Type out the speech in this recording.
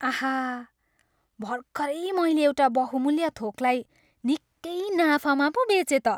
आहा! भर्खरै मैले एउटा बहुमुल्य थोकलाई निकै नाफामा पो बेचेँ त।